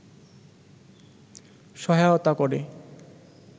সহায়তা করে